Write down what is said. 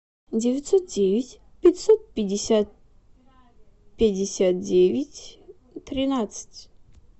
девятьсот девять пятьсот пятьдесят пятьдесят девять тринадцать